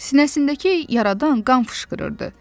Sinəsindəki yaradan qan fışqırırdı.